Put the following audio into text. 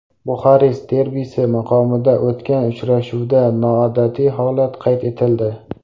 Buxarest derbisi maqomida o‘tgan uchrashuvda noodatiy holat qayd etildi.